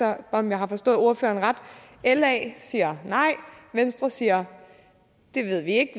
er om jeg har forstået ordføreren ret la siger nej venstre siger at